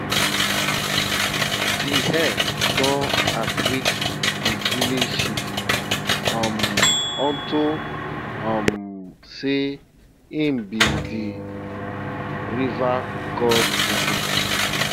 de hare don outwit de village chief um unto um sey im be de river god messenger